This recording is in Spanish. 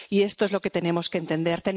Y esto es lo que tenemos que entender.